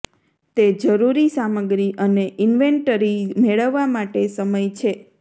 તે જરૂરી સામગ્રી અને ઇન્વેન્ટરી મેળવવા માટે સમય છે